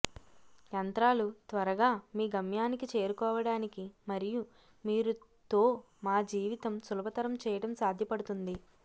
యంత్రాలు త్వరగా మీ గమ్యానికి చేరుకోవడానికి మరియు మీరు తో మా జీవితం సులభతరం చేయడం సాధ్యపడుతుంది